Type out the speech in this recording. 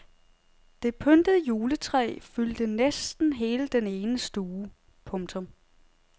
Det pyntede juletræ fyldte næsten hele den ene stue. punktum